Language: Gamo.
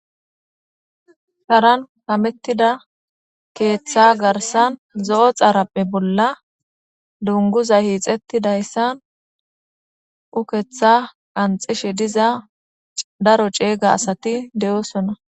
Sharan kamettidda keeththa garssan zo'o xaaraphphe bolla dunguza hiixettidayssan ukeeththa qanxishshe diza daro cegga asati de'osoona